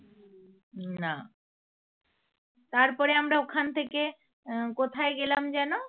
তারপরে আমরা ওখান থেকে আহ কোথায় গেলাম যেনো?